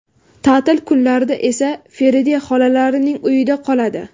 Ta’til kunlarida esa Feride xolalarining uyida qoladi.